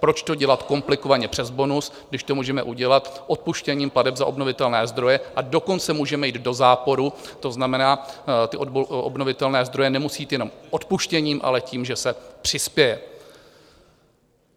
Proč to dělat komplikovaně přes bonus, když to můžeme udělat odpuštěním plateb za obnovitelné zdroje, a dokonce můžeme jít do záporu, to znamená, ty obnovitelné zdroje nemusí jít jenom odpuštěním, ale tím, že se přispěje.